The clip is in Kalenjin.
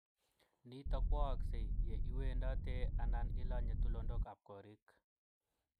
Nitok kwa aksei ye iwendatee ana ilanyee tulundok ab korik.